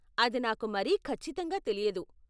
అది నాకు మరీ ఖచ్చితంగా తెలియదు.